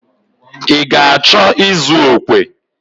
Ha ga-achọ ịzụ okwe.